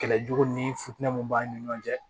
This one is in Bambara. Kɛlɛ jugu ni futɛniw b'an ni ɲɔgɔn cɛ